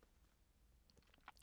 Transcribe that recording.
DR2